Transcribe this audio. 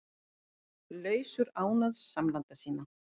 Laus úr ánauð samlanda sinna